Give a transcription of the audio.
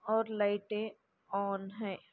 और लाइटे ऑन है।